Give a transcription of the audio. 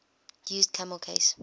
used camel case